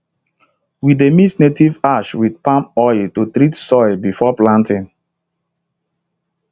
we dey mix native ash with palm oil to treat soil before planting